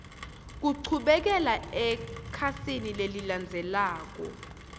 kuchubekela ekhasini lelilandzelako